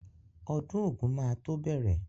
Ọdún ògún máa tó bẹ̀rẹ̀.